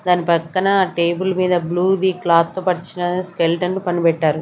దాని పక్కన టేబుల్ మీద బ్లూ ది క్లాత్ తో పరిచిన స్కెలిటన్ పని పెట్టారు.